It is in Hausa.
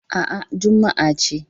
A'a, Juma'a ce